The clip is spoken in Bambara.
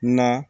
Na